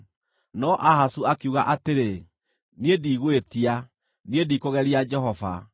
No Ahazu akiuga atĩrĩ, “Niĩ ndigwĩtia; niĩ ndikũgeria Jehova.”